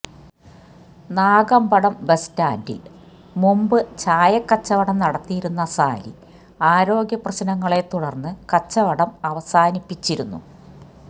Nagampadam bus സ്റ്റാന്ഡില് മുമ്പ് ചായക്കച്ചവടം നടത്തിയിരുന്ന സാലി ആരോഗ്യപ്രശ്നങ്ങളെത്തുടര്ന്നു കച്ചവടം അവസാനിപ്പിച്ചിരുന്നു